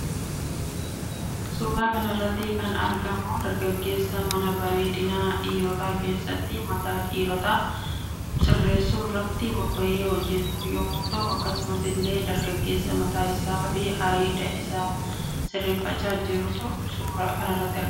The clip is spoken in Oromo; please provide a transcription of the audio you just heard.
Suuraa kanarratti kan argamu dargaggeessa mana bareedina dhiirota kessatti mataa dhiirota sirressu irratti bobba'ee hojjetu yommuu ta'u akkasumas ille dargaggeessa mataa isaa fi areeda isa sirreeffachaa jirtu suuraa kanarratti argama.